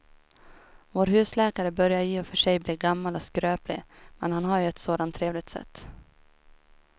Vår husläkare börjar i och för sig bli gammal och skröplig, men han har ju ett sådant trevligt sätt!